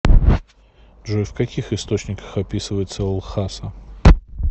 джой в каких источниках описывается лхаса